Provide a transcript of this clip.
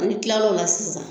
n'i tilar'o la sisan